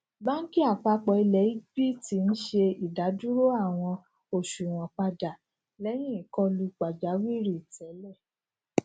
banki apapo ile egypt ń ṣe idaduro awọn oṣuwọn pada lẹhin ikọlu pajawiri tẹlẹ